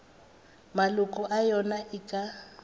maloko a yona e ka